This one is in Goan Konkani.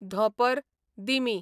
धोंपर, दिमी